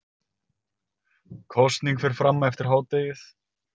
Kosning fer fram eftir hádegið